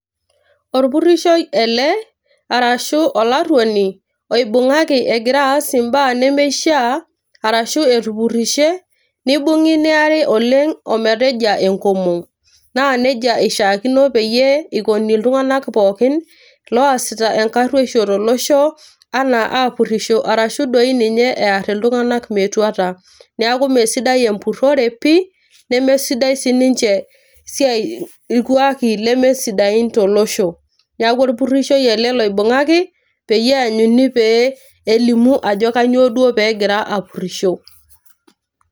Orpurishoi ele arashu olaruoni oibungaki egira aas imbaa nemeishiaa arashu etupurishe nibungi niari oleng ometejia enkomom . naa nejia eishiaakino peyie eikoni iltunganak pookin loasita enkaruosho tolosho anaa apurisho arashu doi ninye ear iltunganak metuata . niaku mmee sidai empurore pi nemesidai siniche siati irkwaki leme sidain tolosho . niaku orpurishoi ele loibungaki peyie eanyuni pee elimu ajo kanyioo duo pegira apurisho.